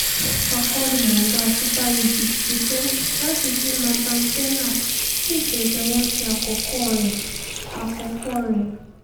akọ́nimọ̀ọ́gbá super eagles ṣetán láti fún nathan tella ní ìfẹsẹ̀wọnsẹ̀ àkọ́kọ́ rẹ̀ àkọ́kọ́ rẹ̀